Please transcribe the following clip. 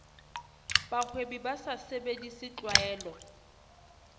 bahwebi ba sa sebedise tlwaelo